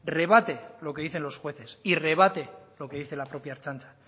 rebate lo que dicen los jueces y rebate lo que dice la propia ertzaintza